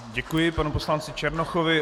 Děkuji panu poslanci Černochovi.